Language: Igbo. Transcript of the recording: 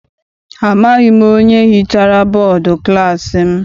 Amaghị m onye hichara bọdu klassi m.